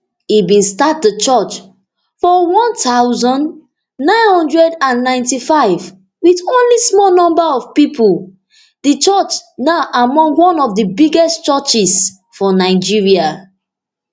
e bin start di church for one thousand, nine hundred and ninety-five wit only small number of pipo di church now among one of di biggest churches for nigeria